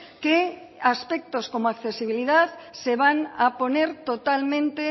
que aspectos como accesibilidad se van a poner totalmente